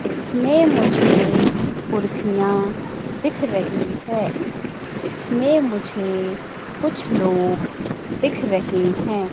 इसमे मुझे कुर्सियां दिख रही है इसमे मुझे कुछ लोग दिख रहे है।